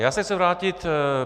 Já se chci vrátit.